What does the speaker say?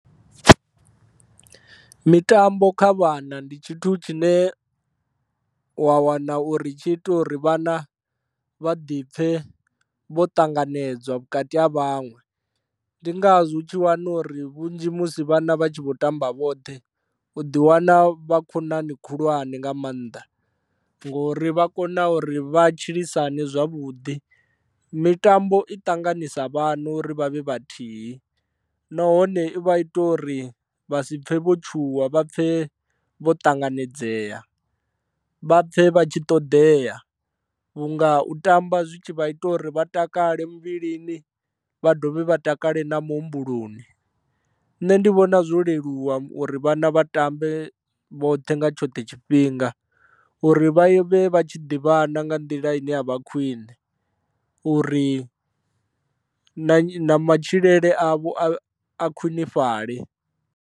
Mitambo kha vhana ndi tshithu tshine wa wana uri tshi ita uri vhana vha ḓi pfhe vho tanganedzwa vhukati ha vhaṅwe ndi ngazwo u tshi wana uri vhunzhi musi vhana vha tshi vho tamba vhoṱhe u ḓi wana vha khonani khulwane nga maanḓa ngori vha kona uri vha tshilisane zwavhuḓi, mitambo i ṱanganisa vhana uri vha vhe vhathihi nahone i vha i ita uri vha si pfhe vho tshuwa vha pfhe vho ṱanganedzea vha pfhe vha tshi ṱoḓea vhunga u tamba zwi tshi vha ita uri vha takale muvhilini vha dovhe vha takale na muhumbuloni. Nṋe ndi vhona zwo leluwa uri vhana vha tambe vhoṱhe nga tshoṱhe tshifhinga uri vha vhe vha tshi ḓivhana nga nḓila ine a vha khwine uri na matshilele avho a khwinifhale.